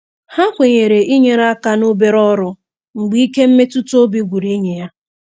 Ha kwenyere inyere aka n'obere ọrụ mgbe ike mmetụtaobi gwụrụ enyi ya.